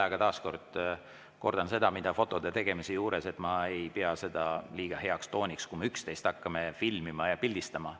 Aga taas kordan seda, mida fotode tegemise juures, et ma ei pea seda eriti heaks tooniks, kui me üksteist hakkame filmima ja pildistama.